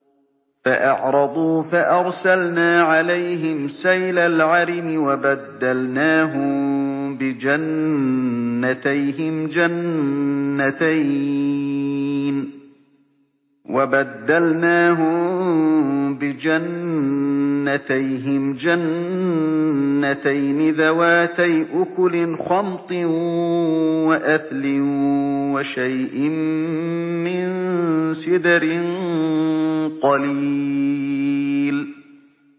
فَأَعْرَضُوا فَأَرْسَلْنَا عَلَيْهِمْ سَيْلَ الْعَرِمِ وَبَدَّلْنَاهُم بِجَنَّتَيْهِمْ جَنَّتَيْنِ ذَوَاتَيْ أُكُلٍ خَمْطٍ وَأَثْلٍ وَشَيْءٍ مِّن سِدْرٍ قَلِيلٍ